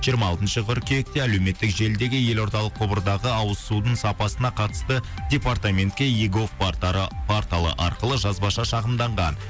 жиырма алтыншы қыркүйекте әлеуметтік желідегі елордалық құбырдағы ауыз судың сапасына қатысты департаментке егов порталы арқылы жазбаша шағымданған